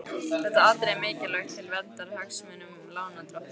Þetta atriði er mikilvægt til verndar hagsmunum lánardrottna.